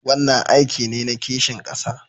Wannan aiki ne na kishin kasa